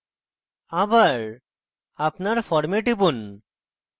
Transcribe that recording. আবার আপনার ফর্মে টিপুন